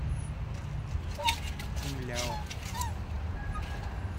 тунляо